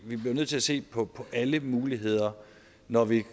vi bliver nødt til at se på alle muligheder når vi